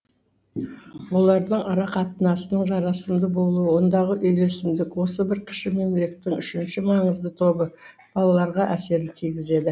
олардың арақатынасының жарасымды болуы ондағы үйлесімділік осы бір кіші мемлекеттің үшінші маңызды тобы балаларға әсерін тигізеді